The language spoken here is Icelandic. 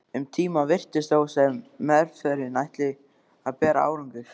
Um tíma virtist þó sem meðferðin ætlaði að bera árangur.